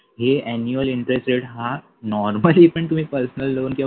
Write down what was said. हे annually interest rate हा normally पण तुम्ही personal loan किंवा